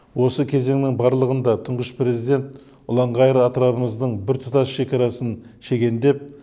осы кезеңнің барлығында тұңғыш президент ұлан ғайыр атырабымыздың біртұтас шекарасын шегендеп